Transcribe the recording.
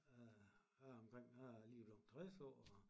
Øh jeg er omkring jeg er lige blevet 60 år og